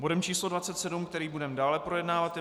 Bodem číslo 27, který budeme dále projednávat, je